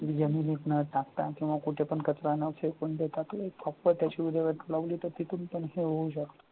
जमिनीत न टाकता किंवा कुठे पण कचरा न फेकून देता तो एक proper फक्त त्याची विल्हेवाट लावली तर तिथून पण हे होऊ शकते.